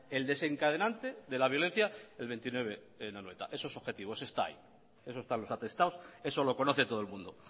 el desencadenante de la violencia el veintinueve en anoeta eso es objetivo esto está ahí eso está en los atestados eso lo conoce todo el mundo